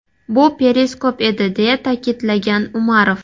Bu periskop edi”, deya ta’kidlagan Umarov.